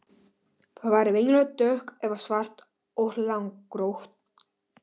Það er venjulega dökkt eða svart og langrákótt.